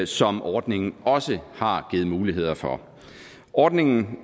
som ordningen også har givet muligheder for ordningen